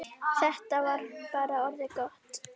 Þetta var bara orðið gott.